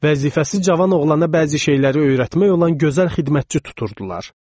Vəzifəsi cavan oğlana bəzi şeyləri öyrətmək olan gözəl xidmətçi tuturdular.